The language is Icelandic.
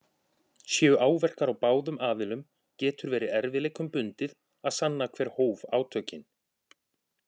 Séu áverkar á báðum aðilum getur verið erfiðleikum bundið að sanna hver hóf átökin.